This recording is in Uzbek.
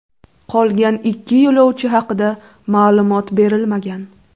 Qolgan ikki yo‘lovchi haqida ma’lumot berilmagan.